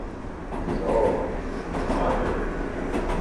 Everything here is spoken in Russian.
джой выкладывай